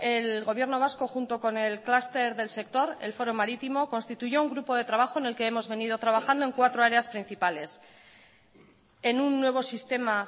el gobierno vasco junto con el cluster del sector el foro marítimo constituyó un grupo de trabajo en el que hemos venido trabajando en cuatro áreas principales en un nuevo sistema